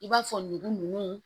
I b'a fɔ ngu nunnu